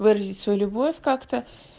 выразить свою любовь как-то